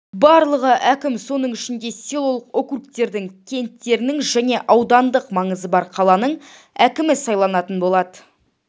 барлығы әкім соның ішінде селолық округтердің кенттердің және аудандық маңызы бар қаланың әкімі сайланатын болады